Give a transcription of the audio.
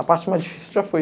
A parte mais difícil já foi.